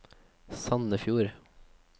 Sandefjord